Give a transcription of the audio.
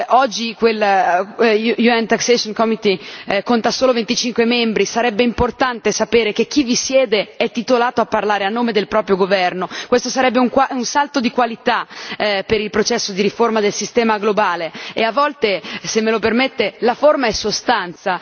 Oggi il Comitato fiscale dell'ONU conta solo 25 membri sarebbe importante sapere che chi vi siede è titolato a parlare a nome del proprio governo. Questo sarebbe un salto di qualità per il processo di riforma del sistema globale e a volte, se me lo permette, la forma è sostanza.